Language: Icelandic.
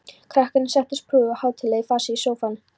Krakkarnir settust prúðir og hátíðlegir í fasi í sófann.